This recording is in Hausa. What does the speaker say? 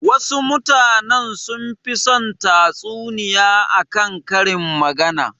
Wasu mutanen sunfi son tatsuniya a kan karin magana.